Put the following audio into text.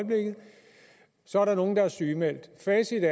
så er der nogle der er sygemeldt facit